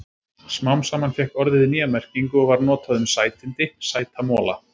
Smám saman fékk orðið nýja merkingu og var notað um sætindi, sæta mola.